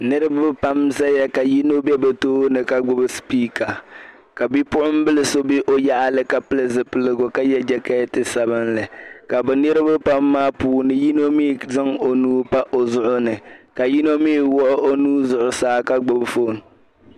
Niriba pam n-zaya ka yino be bɛ tooni ka gbubi speaker ka bi'puɣinbila so be o yaɣili ka pili zipiligu ka ye jakeeti'sabinli ka be niriba pam maa puuni yino mii zaŋ o nuu pa o zuɣu ni ka yino mii wuɣi o nuu zuɣusaa ka gbubi fone.